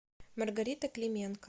маргарита клименко